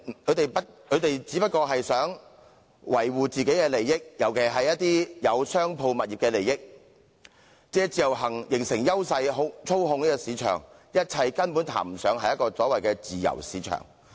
他們只是希望維護自己的利益，尤其是他們持有商鋪物業的利益，借自由行形成優勢，操控市場，一切根本談不上自由市場。